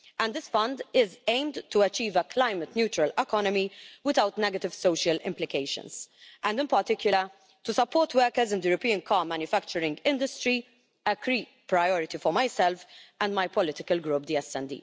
This fund is aimed to achieve a climate-neutral economy without negative social implications and, in particular, to support workers in the European car manufacturing industry, a key priority for myself and my political group, the SD.